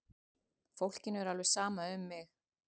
Fólkinu er alveg sama um mig!